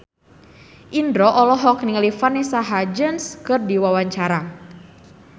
Indro olohok ningali Vanessa Hudgens keur diwawancara